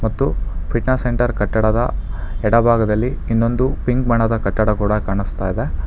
ಮತ್ತು fitness centre ಕಟ್ಟಡದ ಎಡಭಾಗದಲ್ಲಿ ಇನ್ನೊಂದು ಪಿಂಕ್ ಬಣ್ಣದ ಕಟ್ಟಡ ಕೂಡ ಕಾಣಿಸ್ತಾ ಇದೆ.